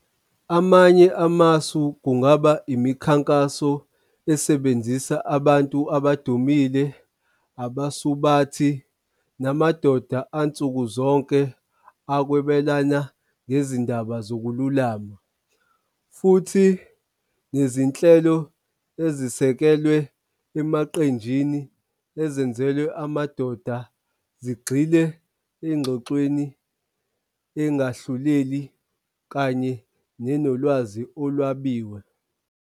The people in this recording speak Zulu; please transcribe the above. Amanye amasu kungaba imikhankaso esebenzisa abantu abadumile abasubathi namadoda ansuku zonke akwebelana ngezindaba zokululama. Futhi nezinhlelo ezisekelwe emaqenjini ezenzelwe amadoda zigxile engxoxweni engahluleli kanye nenolwazi olwabiwe.